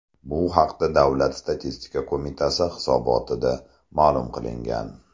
Bu haqda Davlat statistika qo‘mitasi hisobotida ma’lum qilingan .